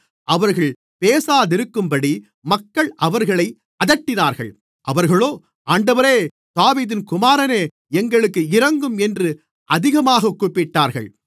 அவர்கள் பேசாதிருக்கும்படி மக்கள் அவர்களை அதட்டினார்கள் அவர்களோ ஆண்டவரே தாவீதின் குமாரனே எங்களுக்கு இரங்கும் என்று அதிகமாகக் கூப்பிட்டார்கள்